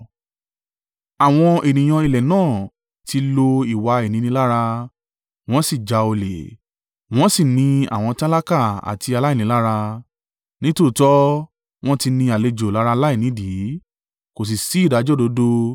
Àwọn ènìyàn ilẹ̀ náà, tí lo ìwà ìninilára, wọn sì já olè, wọn sì ni àwọn tálákà àti aláìní lára; nítòótọ́, wọn tí ní àlejò lára láìnídìí. Kò sì ṣí ìdájọ́ òdodo.